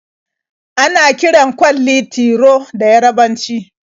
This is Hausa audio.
Ana kiran kwalli "Tiro" da Yarabanci.